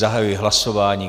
Zahajuji hlasování.